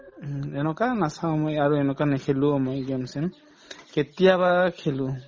উম, এনেকুৱা নাচাওঁ মই আৰু এনেকুৱা নেখেলোও মই game চেম কেতিয়াবা খেলো